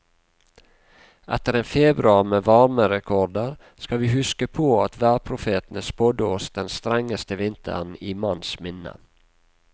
Etter en februar med varmerekorder skal vi huske på at værprofetene spådde oss den strengeste vinteren i manns minne.